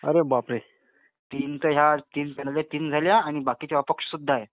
अरे बापरे, तीन तर ह्या तीन झाल्या आणि बाकी अपक्ष सुद्धा आहेत.,